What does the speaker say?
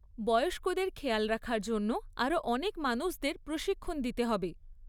বয়স্কদের খেয়াল রাখার জন্য আরো অনেক মানুষদের প্রশিক্ষণ দিতে হবে।